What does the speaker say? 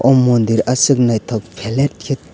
o mondir asok naitok pelet ket.